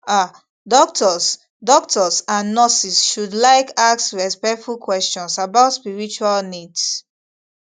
ah doctors doctors and nurses should like ask respectful questions about spiritual needs